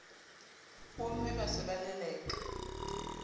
bomme ba se ba leleka